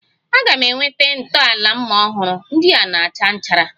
A ga m enweta ntọala mma ọhụrụ, ndị a na-acha nchara